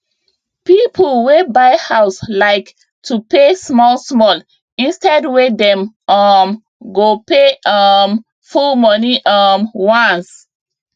people wey buy house like to pay smallsmall instead wey dem um go pay um full money um once